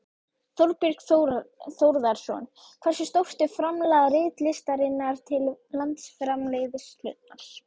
Þorbjörn Þórðarson: Hversu stórt er framlag ritlistarinnar til landsframleiðslunnar?